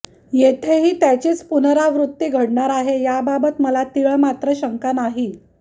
येथेही त्याचीच पुनराबृत्ती घडणार आहे याबाबत मला तीळमात्र शंका नाही